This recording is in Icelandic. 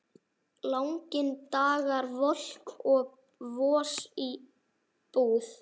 Langir dagar, volk og vosbúð.